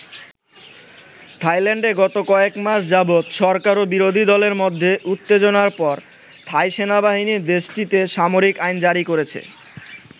থাইল্যান্ডে গত কয়েক মাস যাবত সরকার এবং বিরোধী দলের মধ্যে উত্তেজনার পর থাই সেনাবাহিনী দেশটিতে সামরিক আইন জারি করেছে।